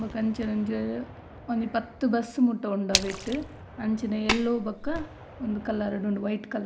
ಬೊಕ್ಕ ಅಂಚನೆ ಒಂಜ ಒಂಜಿ ಪತ್ತ್ ಬಸ್ಸ್ ಮುಟ ಉಂಡು ಅವೆಟ್ ಅಂಚಿನ ಎಲ್ಲೋ ಬೊಕ ಒಂಜಿ ಕಲರ್ ಡು ಉಂಡು ವೈಟ್ ಕಲರ್ --